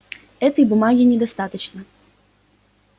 этой бумаги недостаточно